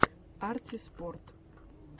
арти спорт